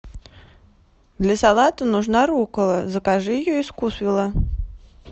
для салата нужна руккола закажи ее из вкусвилла